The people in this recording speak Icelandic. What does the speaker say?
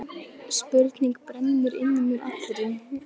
Spurning brennur inn í mér allri.